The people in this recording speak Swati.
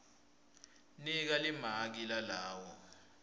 nika limaki lalawo